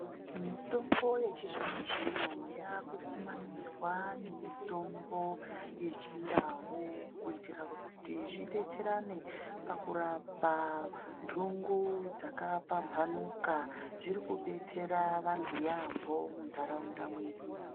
Mitombo yechizvino-zvino yaakukumanidzwa nemitombo yechindau kuitira kuti zvidetserane pakurapa ntungu dzakapamphanukaDziri kudetserwa antu yaampho muntaraunda mwedu.